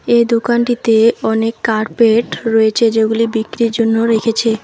এই দোকানটিতে অনেক কার্পেট রয়েছে যেগুলি বিক্রির জন্য রেখেছে।